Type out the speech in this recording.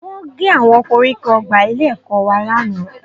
Wọ́n gé àwọn koríko ọgbà ilé-ẹ̀kọ́ wa lánàá